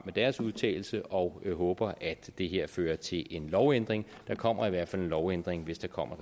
med deres udtalelse og håber at det her fører til en lovændring der kommer i hvert fald en lovændring hvis der kommer